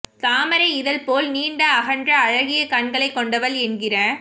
தாமரை இதழ் போல நீண்ட அகன்ற அழகிய கண்களைக் கொண்டவள் என்கிற